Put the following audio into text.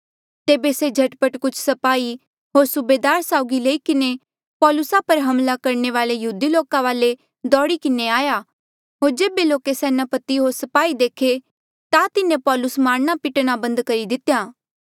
तेबे से झट पट कुछ स्पाही होर सूबेदार साउगी लई किन्हें पौलुसा पर हमला करणे वाले यहूदी लोका वाले दौड़ी किन्हें आया होर जेबे लोके सेनापति होर स्पाही देखे ता तिन्हें पौलुस मारणा पिटणा बंद करी दितेया